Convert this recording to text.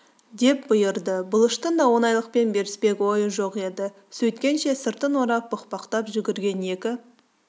деп бұйырды бұлыштың да оңайлықпен беріспек ойы жоқ еді сөйткенше сыртын орап бұқбақтап жүгірген екі